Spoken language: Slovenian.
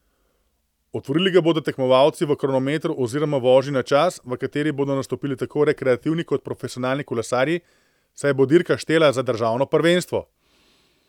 Otvorili ga bodo tekmovalci v kronometru oziroma vožnji na čas, v kateri bodo nastopili tako rekreativni kot profesionalni kolesarji, saj bo dirka štela za državno prvenstvo.